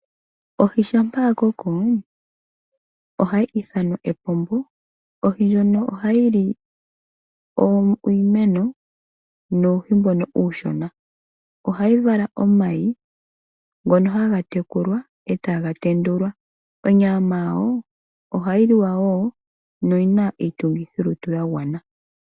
Ohi shampa ya koko, ohayi ithanwa epombo. Ohi ndjono ohayi li iimeno, nuuhi mboka uushona. Ohayi vala omayi, ngono haga tekulwa, eta ga tendulwa. Onyama yawo, ohayi liwa wo, noyi na iitungithilutu ya gwana.